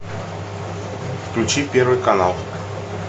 включи первый канал